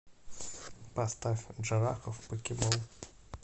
поставь джарахов покебол